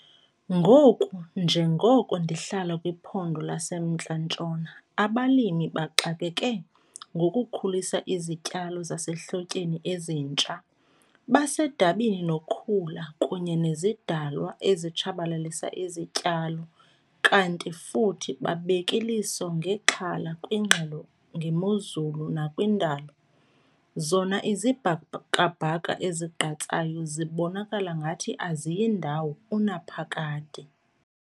Ngoku njengoko ndihlala kwiPhondo laseMntla Ntshona, abalimi baxakeke ngokukhulisa izityalo zasehlotyeni ezitsha, basedabini nokhula kunye nezidalwa ezitshabalalisa izityalo kanti futhi babek' iliso ngexhala kwiingxelo ngemozulu nakwindalo, zona izibhakabhaka ezigqatsayo zibonakala ngathi aziyi ndawo unaphakade.